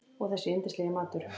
Og þessi yndislegi matur!